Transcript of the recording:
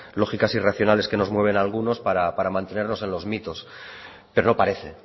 lógicas irracionales que nos mueven a algunos para mantenernos en los mitos pero no parece